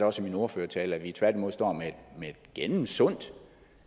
også i min ordførertale at vi tværtimod står med et gennemsundt